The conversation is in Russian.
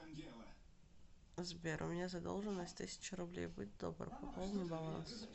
сбер у меня задолженность тысяча рублей будь добр пополни баланс